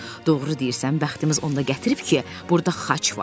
Doğru deyirsən, bəxtimiz onda gətirib ki, burda xaç var.